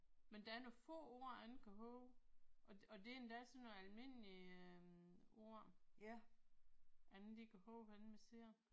Men der er nogle få ord ingen kan huske og det og det er endda sådan nogle almindelige ord ingen de kan huske hvordan man siger